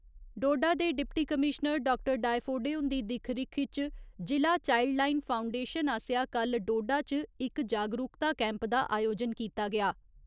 डोडा दे deputy commissioner doctor डायफोडे हुन्दी दिक्ख रिक्ख इच जि'ला चाइल्डलाईन फाउंडेशन आसेआ कल्ल डोडा च इक जागरूकता कैंप दा आयोजन कीता गेआ।